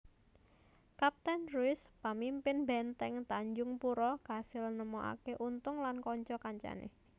Kaptèn Ruys pamimpin bèntèng Tanjungpura kasil nemokaké Untung lan kanca kancané